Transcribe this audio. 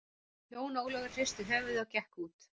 Jón Ólafur hristi höfuði og gekk út.